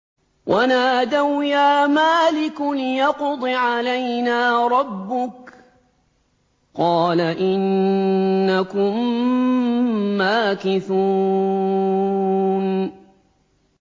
وَنَادَوْا يَا مَالِكُ لِيَقْضِ عَلَيْنَا رَبُّكَ ۖ قَالَ إِنَّكُم مَّاكِثُونَ